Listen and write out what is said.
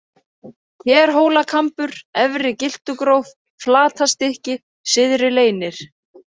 Kerhólakambur, Efri-Gyltugróf, Flatastykki, Syðri-Leynir